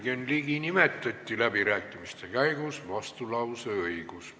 Jürgen Ligi nime nimetati läbirääkimiste käigus, tal on vastulauseõigus.